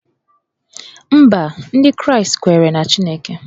Mba, Ndị Kraịst kweere na Chineke